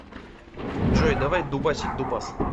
джой давай дубасить дубас